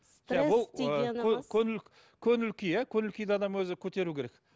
ы көңіл көңіл күй иә көңіл күйді адам өзі көтеру керек